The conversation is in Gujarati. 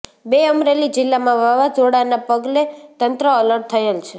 ર અમરેલી જિલ્લામાં વાવાઝોડાના પગલે તંત્ર એલર્ટ થયેલ છે